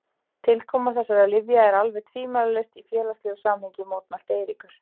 Tilkoma þessara lyfja er alveg tvímælalaust í félagslegu samhengi, mótmælti Eiríkur.